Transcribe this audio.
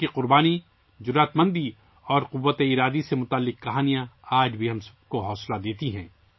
ان کی قربانی، ہمت اور عزم و استقلال سے جڑی کہانیاں آج بھی ہم سب کو متاثر کرتی ہیں